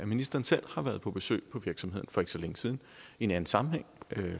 ministeren selv har været på besøg på virksomheden for ikke så længe siden i en anden sammenhæng